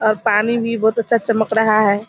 और पानी भी बहुत अच्छा चमक रहा है।